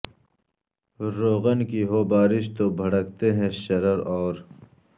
روغن کی ہو بارش تو بھڑکتے ہیں شرر اور